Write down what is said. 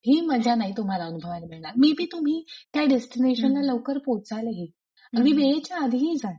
ही मजा नाही तुम्हाला अनुभवायला मिळणार मेय बी तुम्ही त्या डेस्टिनेशनला लवकर पोहोचालही आणि वेळेच्या आधीही जाल.